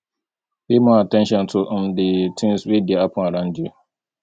pay more at ten tion to um di things wey dey happen around you